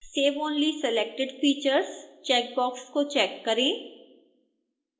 save only selected features checkbox को check करें